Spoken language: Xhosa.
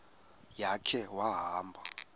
ya khe wahamba